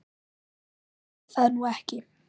Ég sagði það nú ekki